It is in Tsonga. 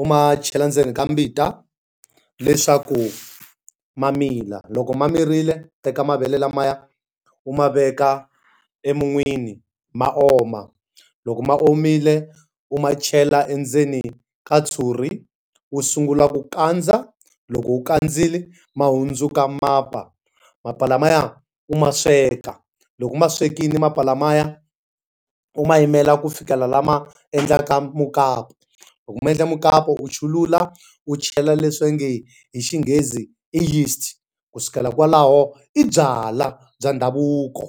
u ma chela ndzeni ka mbita, leswaku ma mila. Loko ma mirile teka mavele lamaya u ma veka emun'wini ma oma. Loko ma omile, u ma chela endzeni ka ntshuri u sungula ku kandza. Loko u khandzile, ma hundzuka mapa. Mapa lamaya u ma sweka. Loko u ma swekile mapa lamaya, u ma yimela ku fikela lama endlaka mukapu. Loko ma endle mukapu u chulula u chela leswi va nge hi xinghezi i yeast. Ku sukela kwalaho, i byalwa bya ndhavuko.